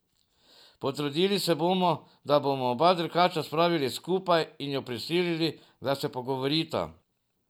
Potrudili se bomo, da bomo oba dirkača spravili skupaj in ju prisilili, da se pogovorita.